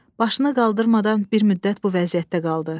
Başını qaldırmadan bir müddət bu vəziyyətdə qaldı.